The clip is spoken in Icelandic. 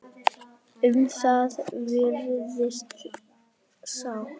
Um það virðist sátt.